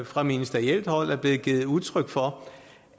fra ministerielt hold er blevet givet udtryk for